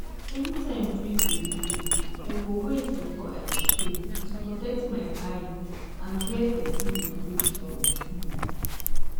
anytime breeze dey blow i go wait before i spray to protect my eye and where person dey breath from. um